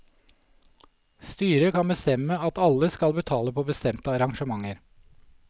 Styret kan bestemme at alle skal betale på bestemte arrangementer.